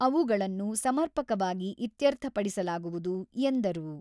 ಅವುಗಳನ್ನು ಸಮರ್ಪಕವಾಗಿ ಇತ್ಯರ್ಥಪಡಿಸಲಾಗುವುದು ಎಂದರು.